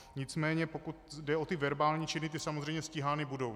Nicméně pokud jde o ty verbální činy, ty samozřejmě stíhány budou.